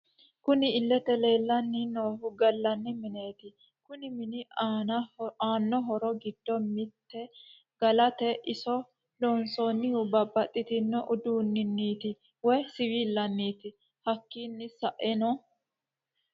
Kunni illete leelani noohu galani mineeti kunni mini aana horro giddo mitte galate iso loonsonihu babaxitino uduuniniti woyi siwilaniti hakiino sa'eena...